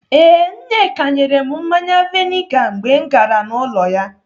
Ee, Nneka nyere m mmanya vainga mgbe m gara n'ụlọ ya.